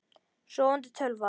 Sofandi tölva.